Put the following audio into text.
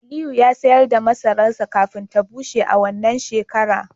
Aliyu ya sayar da masararsa kafin ya bushe a wannan shekara